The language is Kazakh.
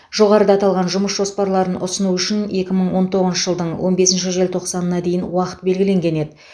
жоғарыда аталған жұмыс жоспарларын ұсыну үшін екі мың он тоғызыншы жылдың он бесінші желтоқсанына дейін уақыт белгілен еді